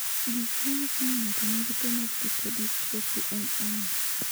Gik manyiso ni ng'ato nigi tuwo mar lipodystrophy en ang'o?